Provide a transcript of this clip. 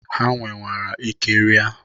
Ha nwerwara ike ria.